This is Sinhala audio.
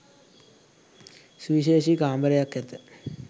සුවිශේෂී කාමරයක් ඇත.